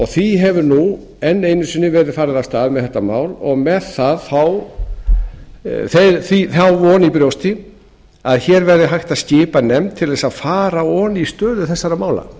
því hefur nú enn einu sinni verið farið af stað með þetta mál og með þá von í brjósti að hér verði hægt að skipa nefnd til þess að fara ofan í stöðu þessara mála